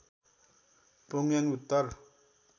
प्योङयाङ उत्तर